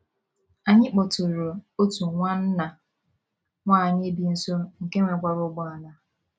Anyị kpọtụụrụ otu nwanna nwanyị bi nso nke nwekwara ụgbọala.